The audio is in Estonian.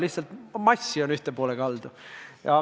Lihtsalt massi on ühel poolel rohkem.